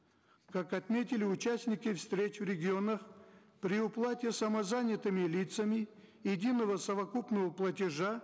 как отметили участники встреч в регионах при уплате самозанятыми лицами единого совокупного платежа